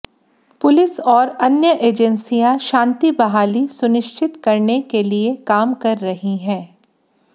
police और अन्य एजेंसियां शांति बहाली सुनिश्चित करने के लिए काम कर रही है